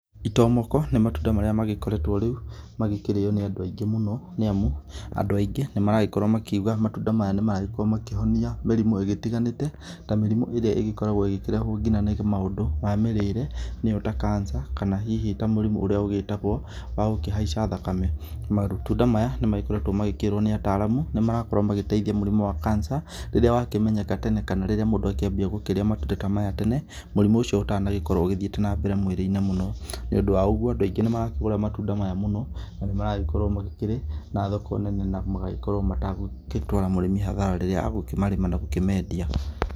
Itomoko nĩ matunda marĩa magĩkoretwo rĩu magĩkĩrĩo nĩ andũ aingĩ mũno nĩ amu, andũ aingĩ nĩ maragĩkorwo makĩuga matunda maya nĩ maragĩkorwo makĩhonia mĩrimũ ĩtiganĩte, ta mĩrimũ ĩrĩa ĩgĩkoragwo ĩkĩrehwo nginya nĩ maũndũ ma mĩrĩre nĩyo ta cancer kana hihi ta mũrimũ ũrĩa ũgĩtagwo wa gũkĩhaica thakame. Matunda maya nĩmakoretwo magĩkĩrwo nĩ ataramu nĩ marakorwo magĩteithia mũrimũ wa cancer rĩrĩa wakĩmenyeka tene kana rĩrĩa mũndũ akĩambia gũkĩrĩa matunda ta maya tene mũrimũ ũcio ũtanagĩkorwo ũthiĩte na mbere mwĩrĩ-inĩ mũno. Nĩ ũndũ wa ũguo andũ aingĩ nĩ mara kĩgũra matunda maya mũno na nĩ maragĩkorwo magĩkĩrĩ na thoko nene na magagĩkorwo matagũtwara mũrĩmi hathara rĩrĩa agũkĩmarĩma na gũkĩmendia.